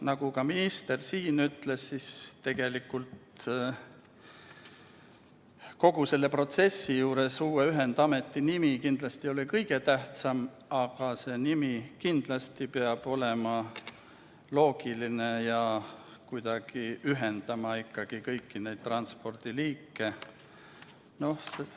Nagu ka minister siin ütles, tegelikult kogu selle protsessi juures uue ühendameti nimi kindlasti ei ole kõige tähtsam, aga nimi kindlasti peab olema loogiline ja kuidagi ühendama kõiki neid transpordiliike.